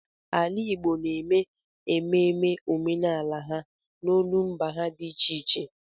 Ala Igbo na-eme ememe omenala ha n'olumba ha dị iche iche.